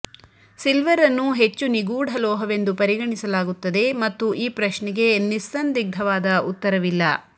silver ಅನ್ನು ಹೆಚ್ಚು ನಿಗೂಢ ಲೋಹವೆಂದು ಪರಿಗಣಿಸಲಾಗುತ್ತದೆ ಮತ್ತು ಈ ಪ್ರಶ್ನೆಗೆ ನಿಸ್ಸಂದಿಗ್ಧವಾದ ಉತ್ತರವಿಲ್ಲ